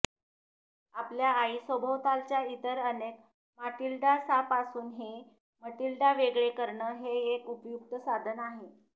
आपल्या आई सभोवतालच्या इतर अनेक माटिल्डासांपासून हे मटिल्डा वेगळे करणं हे एक उपयुक्त साधन आहे